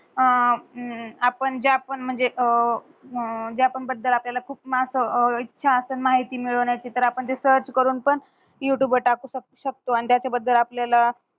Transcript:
आपण ज्या पण म्हंजे जापन बद्दल आपल्याला खूप मास्त इच्छाज्या असन माहिती मिळल. ह्याची तर आपन रिसर्च करून युटूब वर टाकू शकतो. आणि त्याच बद्दल आपल्याला